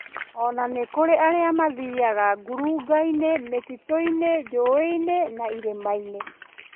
Ona nĩkũrĩ arĩa mathiyaga ngurungainĩ, mĩtitũinı, njũĩinĩ na irĩmainĩ